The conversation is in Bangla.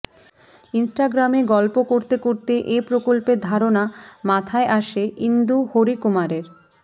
ইনস্টাগ্রামে গল্প করতে করতে এ প্রকল্পের ধারণা মাথায় আসে ইন্দু হরিকুমারের